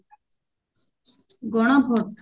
Gana vote